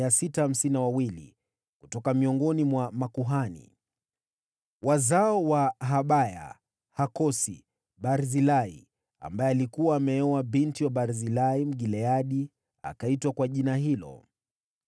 Kutoka miongoni mwa makuhani: Wazao wa Hobaya, Hakosi, Barzilai (mtu aliyekuwa amemwoa binti wa Barzilai, Mgileadi, naye akaitwa kwa jina hilo).